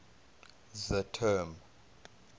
the term